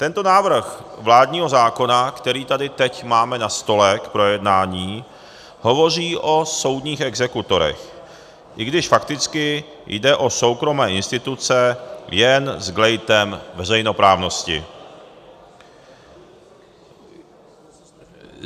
Tento návrh vládního zákona, který tady teď máme na stole k projednání, hovoří o soudních exekutorech, i když fakticky jde o soukromé instituce, jen s glejtem veřejnoprávnosti.